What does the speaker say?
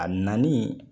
A nali